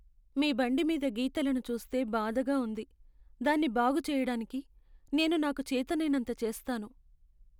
మీ బండి మీద గీతలను చూస్తే బాధగా ఉంది, దాన్ని బాగు చెయ్యడానికి నేను నాకు చేతనైనంత చేస్తాను.